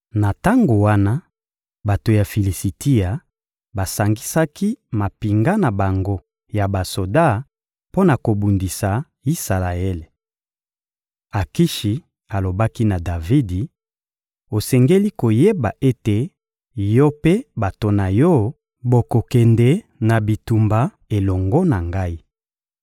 Na tango wana, bato ya Filisitia basangisaki mampinga na bango ya basoda mpo na kobundisa Isalaele. Akishi alobaki na Davidi: — Osengeli koyeba ete yo mpe bato na yo bokokende na bitumba elongo na ngai.